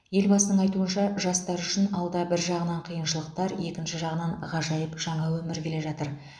елбасының айтуынша жастар үшін алда бір жағынан қиыншылықтар екінші жағынан ғажайып жаңа өмір келе жатыр